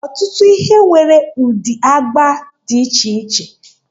Ọtụtụ ihe nwere ụdị agba dị iche iche.